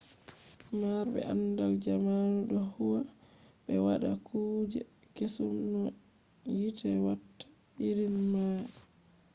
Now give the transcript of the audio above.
marbe andal jamanu do huwa be wada kuje kesum no hite watta irin mai